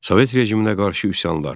Sovet rejiminə qarşı üsyanlar.